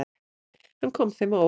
Hann kom þeim á óvart.